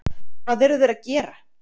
Hvað eru þeir að gera?